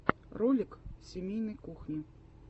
ролик семейной кухни